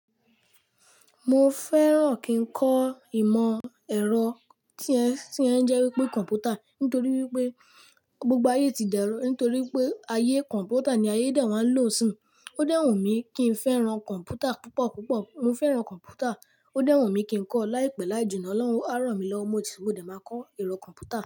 Mo fẹ́ràn kí n kọ ìmọ̀ ẹ̀rọ tí ẹ́ tí ẹ́ ń jẹ́ wípé kọ̀ǹpútà nítorí wípé gbogbo ayé ti dẹrọ́ nítorí pé ayé kọ̀ǹpútà ni ayé dà wáa ń lò sún. Ó dẹ́wùn mí kí n fẹ́ran kọ̀ǹpútà púpọ̀ púpọ̀. Mo fẹ́ran kọ̀ǹpútà. Ó dẹ́wùn mí kí n kọ láìpẹ́ láìjìnnà, olórun á rànmí lọ́wọ́ á ràn mí lọ́wọ mo ti wo dé máa kọ ẹ̀rọ kọ̀ǹpútà.